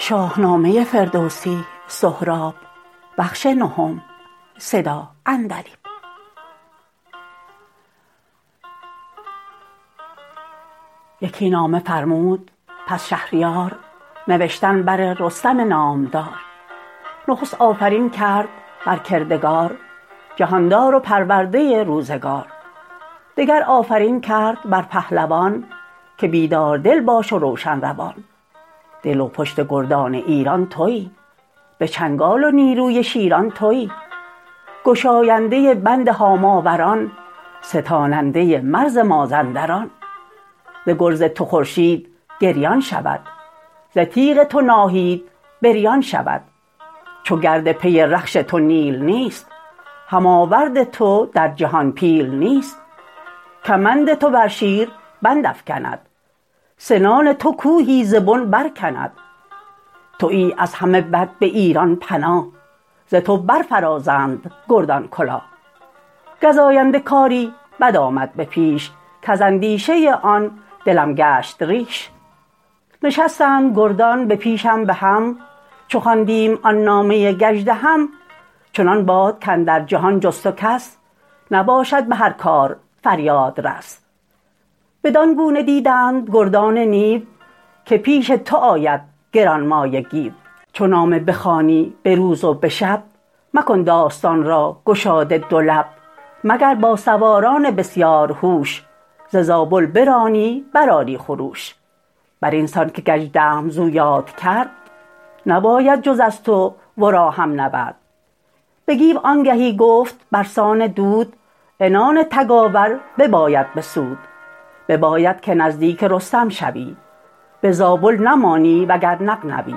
یکی نامه فرمود پس شهریار نوشتن بر رستم نامدار نخست آفرین کرد بر کردگار جهاندار و پرورده روزگار دگر آفرین کرد بر پهلوان که بیدار دل باش و روشن روان دل و پشت گردان ایران تویی به چنگال و نیروی شیران تویی گشاینده بند هاماوران ستاننده مرز مازندران ز گرز تو خورشید گریان شود ز تیغ تو ناهید بریان شود چو گرد پی رخش تو نیل نیست هم آورد تو در جهان پیل نیست کمند تو بر شیر بندافگند سنان تو کوهی ز بن برکند تویی از همه بد به ایران پناه ز تو برفرازند گردان کلاه گزاینده کاری بد آمد به پیش کز اندیشه آن دلم گشت ریش نشستند گردان به پیشم به هم چو خواندیم آن نامه گژدهم چنان باد کاندر جهان جز تو کس نباشد به هر کار فریادرس بدان گونه دیدند گردان نیو که پیش تو آید گرانمایه گیو چو نامه بخوانی به روز و به شب مکن داستان را گشاده دو لب مگر با سواران بسیارهوش ز زابل برانی برآری خروش بر اینسان که گژدهم زو یاد کرد نباید جز از تو ورا هم نبرد به گیو آنگهی گفت برسان دود عنان تگاور بباید بسود بباید که نزدیک رستم شوی به زابل نمانی و گر نغنوی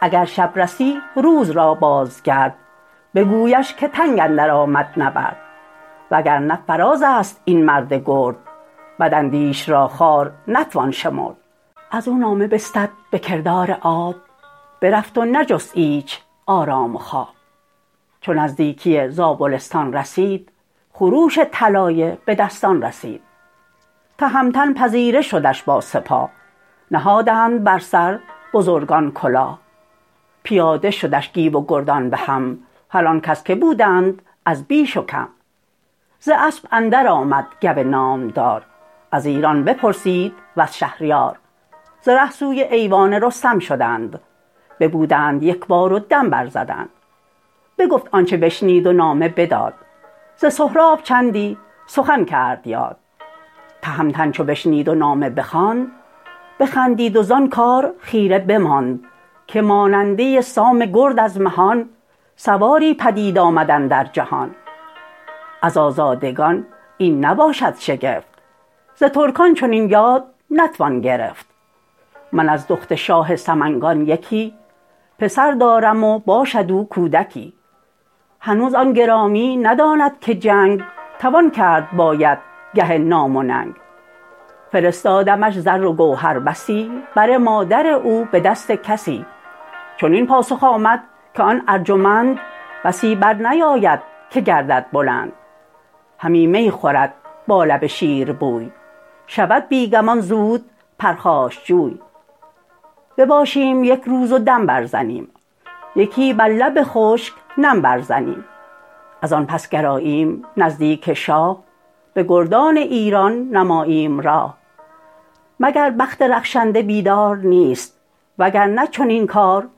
اگر شب رسی روز را بازگرد بگویش که تنگ اندرآمد نبرد وگرنه فرازست این مرد گرد بداندیش را خوار نتوان شمرد ازو نامه بستد به کردار آب برفت و نجست ایچ آرام و خواب چو نزدیکی زابلستان رسید خروش طلایه به دستان رسید تهمتن پذیره شدش با سپاه نهادند بر سر بزرگان کلاه پیاده شدش گیو و گردان بهم هر آنکس که بودند از بیش و کم ز اسپ اندرآمد گو نامدار از ایران بپرسید وز شهریار ز ره سوی ایوان رستم شدند ببودند یکبار و دم برزدند بگفت آنچ بشنید و نامه بداد ز سهراب چندی سخن کرد یاد تهمتن چو بشنید و نامه بخواند بخندید و زان کار خیره بماند که ماننده سام گرد از مهان سواری پدید آمد اندر جهان از آزادگان این نباشد شگفت ز ترکان چنین یاد نتوان گرفت من از دخت شاه سمنگان یکی پسر دارم و باشد او کودکی هنوز آن گرامی نداند که جنگ توان کرد باید گه نام و ننگ فرستادمش زر و گوهر بسی بر مادر او به دست کسی چنین پاسخ آمد که آن ارجمند بسی برنیاید که گردد بلند همی می خورد با لب شیربوی شود بی گمان زود پرخاشجوی بباشیم یک روز و دم برزنیم یکی بر لب خشک نم برزنیم ازان پس گراییم نزدیک شاه به گردان ایران نماییم راه مگر بخت رخشنده بیدار نیست وگرنه چنین کار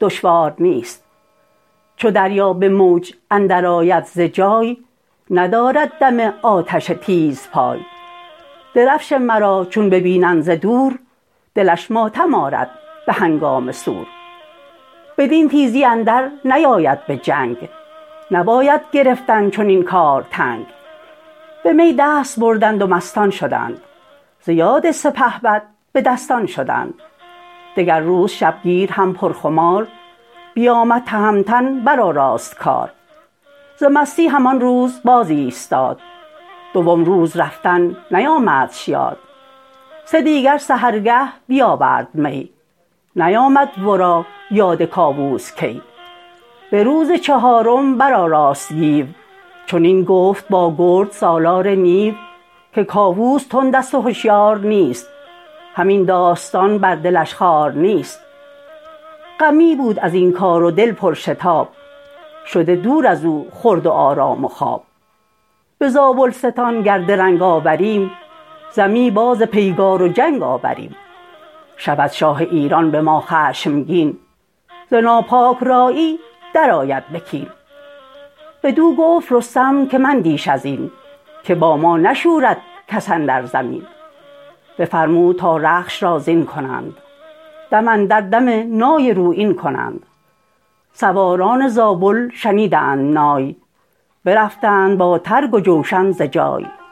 دشوار نیست چو دریا به موج اندرآید ز جای ندارد دم آتش تیزپای درفش مرا چون ببیند ز دور دلش ماتم آرد به هنگام سور بدین تیزی اندر نیاید به جنگ نباید گرفتن چنین کار تنگ به می دست بردند و مستان شدند ز یاد سپهبد به دستان شدند دگر روز شبگیر هم پرخمار بیامد تهمتن برآراست کار ز مستی هم آن روز باز ایستاد دوم روز رفتن نیامدش یاد سه دیگر سحرگه بیاورد می نیامد ورا یاد کاووس کی به روز چهارم برآراست گیو چنین گفت با گرد سالار نیو که کاووس تندست و هشیار نیست هم این داستان بر دلش خوار نیست غمی بود ازین کار و دل پرشتاب شده دور ازو خورد و آرام و خواب به زابلستان گر درنگ آوریم ز می باز پیگار و جنگ آوریم شود شاه ایران به ما خشمگین ز ناپاک رایی درآید بکین بدو گفت رستم که مندیش ازین که با ما نشورد کس اندر زمین بفرمود تا رخش را زین کنند دم اندر دم نای رویین کنند سواران زابل شنیدند نای برفتند با ترگ و جوشن ز جای